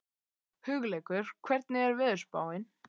Hugleikur, hvernig er veðurspáin?